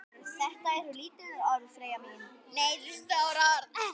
Þetta eru stór orð.